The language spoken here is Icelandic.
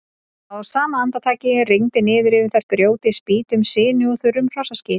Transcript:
Á sama andartaki rigndi niður yfir þær grjóti, spýtum, sinu og þurrum hrossaskít.